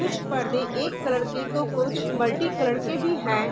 कुछ परदे एक कलर के तो कुछ मल्टी कलर के भी हैं।